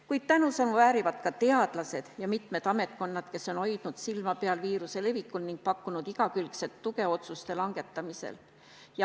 Kuid tänusõnu väärivad ka teadlased ja mitmed ametkonnad, kes on hoidnud silma peal viiruse levikul ning pakkunud igakülgset tuge otsuste langetamisel.